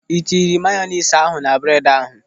Ị tere mayonis ahụ na bredi ahụ?